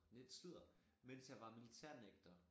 Nej sludder mens jeg var militærnægter